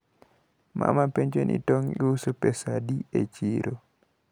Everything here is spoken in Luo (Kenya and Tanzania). Mama penjo ni tong` iuso pesa adi e chiro.